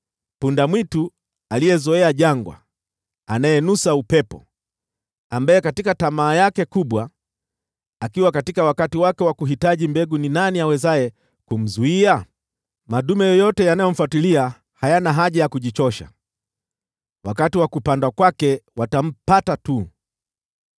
punda-mwitu aliyezoea jangwa, anayenusa upepo katika tamaa yake kubwa: katika wakati wake wa kuhitaji mbegu ni nani awezaye kumzuia? Madume yoyote yanayomfuatilia hayana haja ya kujichosha; wakati wa kupandwa kwake watampata tu.